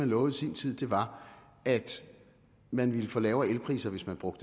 lovet i sin tid var at man ville få lavere elpriser hvis man brugte